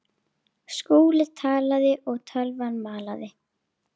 Skúli talaði og tölvan malaði.